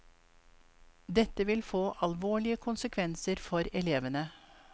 Dette vil få alvorlige konsekvenser for elevene.